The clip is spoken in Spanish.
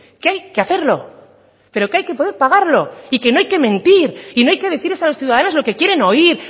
que hay que hacerlo pero que hay que poder pagarlo y que no hay que mentir y no hay que decirles a los ciudadanos lo que quieren oír